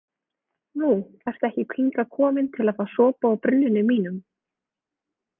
Nú, ertu ekki hingað komin til að fá sopa úr brunninum mínum?